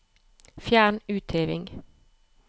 Fjern utheving